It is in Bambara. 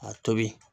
A tobi